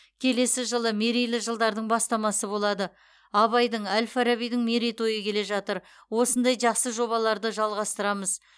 келесі жылы мерейлі жылдардың бастамасы болады абайдың әл фарабидің мерейтойы келе жатыр осындай жақсы жобаларды жалғастырамыз